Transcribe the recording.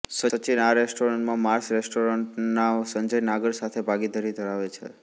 સચિન આ રેસ્ટોરેન્ટ્સ માં Mars restaurant ના સંજય નારંગ સાથે ભાગીદારી ધરાવે છે